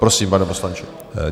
Prosím, pane poslanče.